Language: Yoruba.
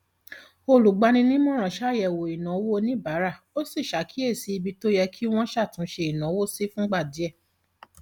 olùgbaninímọràn ṣàyẹwò ìnáwó oníbàárà ó sì ṣàkíyèsí ibi tó yẹ kí wọn ṣàtúnṣe ìnáwó sí fúngbà díẹ